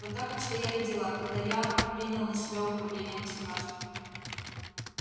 вот так обстояли дела когда я принял на себя управление государством